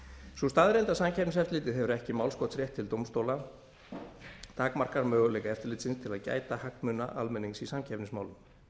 sú staðreynd að samkeppniseftirlitið hefur ekki málskotsrétt til dómstóla takmarkar möguleika eftirlitsins til að gæta hagsmuna almennings í samkeppnismálum